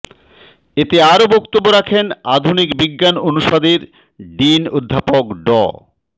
এতে আরও বক্তব্য রাখেন আধুনিক বিজ্ঞান অনুষদের ডিন অধ্যাপক ড